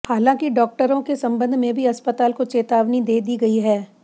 हालांकि डॉक्टरों के संबंध में भी अस्पताल को चेतावनी दे दी गई है